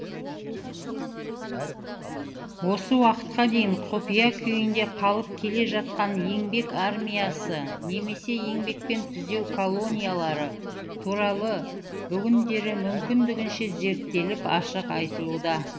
осы уақытқа дейін құпия күйінде қалып келе жатқан еңбек армиясы немесе еңбекпен түзеу колониялары туралы бүгіндері мүмкіндігінше зерттеліп ашық айтылуда